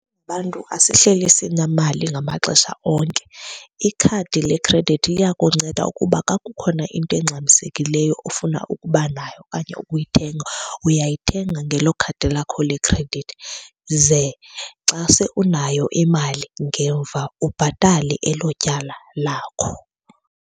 Bantu asihleli sinemali ngamaxesha onke. Ikhadi lekredithi liyakunceda ukuba kakukhona into engxamisekileyo ofuna ukuba nayo okanye ukuyithenga, uyayithenga ngelo khadi lakho lekhredithi. Ze xa unayo imali ngemva ubhatale elo tyala lakho.